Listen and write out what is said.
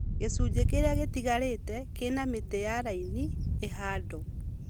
gĩcunjĩ kĩrĩa gĩtigarĩte kĩna mĩti ya raini ĩhanditwo